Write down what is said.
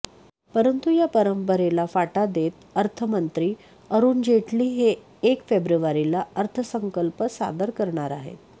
परंतु या परंपरेला फाटा देत अर्थमंत्री अरुण जेटली हे एक फेब्रुवारीला अर्थसंकल्प सादर करणार आहेत